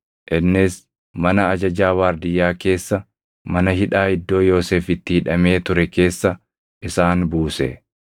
innis mana ajajaa waardiyyaa keessa mana hidhaa iddoo Yoosef itti hidhamee ture keessa isaan buuse.